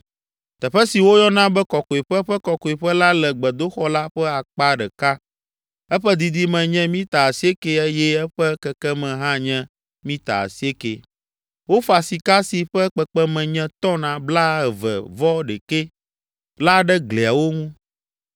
Teƒe si woyɔna be Kɔkɔeƒe Ƒe Kɔkɔeƒe la le gbedoxɔ la ƒe akpa ɖeka. Eƒe didime nye mita asieke eye eƒe kekeme hã nye mita asieke. Wofa sika si ƒe kpekpeme nye “tɔn” blaeve-vɔ-ɖekɛ la ɖe gliawo ŋu.